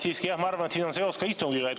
Siiski, jah, ma arvan, et siin on seos ka istungiga.